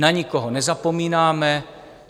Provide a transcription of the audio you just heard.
Na nikoho nezapomínáme.